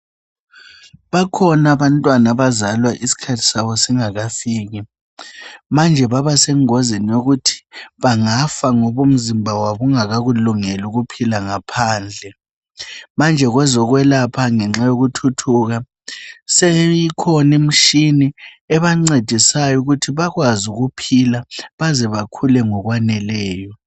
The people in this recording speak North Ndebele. bakhona abantwana abazalwa isikhathi sabo singakafiki manje babasengozini yokuthi bangafa ngoba umzimba wabo ungakakulungeli ukuphila ngaphandle manje kwezokwelapha ngenxa yokuthuthuka seyikhona imshini ebancedisayo ukuthi bakwazi ukuphila baze bakhule ngokwaneleyo